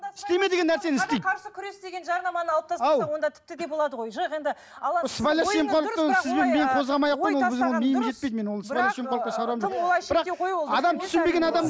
күрес деген жарнаманы алып тастасақ онда тіпті де болады ғой